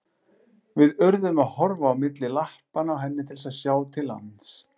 Við urðum að horfa á milli lappa á henni til að sjá til lands.